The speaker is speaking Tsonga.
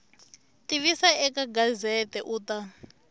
tivisa eka gazette u ta